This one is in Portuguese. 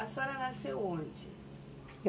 A senhora nasceu onde? Eu